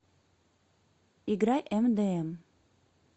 играй мдм